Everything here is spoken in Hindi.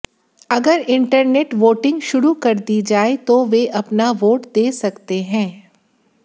अगर इंटरनेट वोटिंग शुरू कर दी जाए तो वे अपना वोट दे सकते हैं